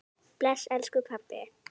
Bless elsku pabbi.